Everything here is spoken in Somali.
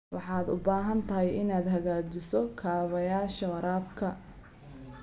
Waxaad u baahan tahay inaad hagaajiso kaabayaasha waraabka.